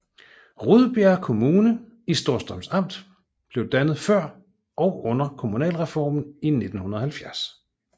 Rudbjerg Kommune i Storstrøms Amt blev dannet før og under kommunalreformen i 1970